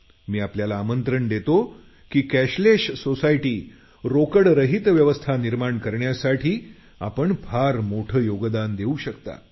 मी आपल्याला आमंत्रण देतो की कॅशलेस सोसायटी अर्थात रोकडरहित व्यवस्था निर्माण करण्यासाठी आपण फार मोठं योगदान देऊ शकता